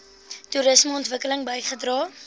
toerisme ontwikkeling bygedra